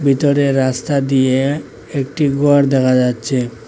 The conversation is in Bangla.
ভিতরের রাস্তা দিয়ে একটি ঘর দেখা যাচ্ছে।